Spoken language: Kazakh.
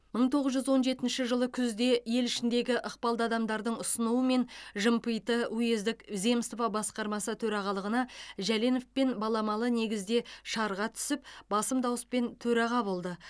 мың тоғыз жүз он жетінші жылы күзде ел ішіндегі ықпалды адамдардың ұсынуымен жымпиты уездік земство басқармасы төрағалығына жәленовпен баламалы негізде шарға түсіп басым дауыспен төраға болды